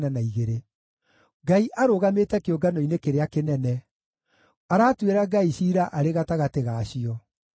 Ngai arũgamĩte kĩũngano-inĩ kĩrĩa kĩnene; aratuĩra “ngai” ciira arĩ gatagatĩ ga cio.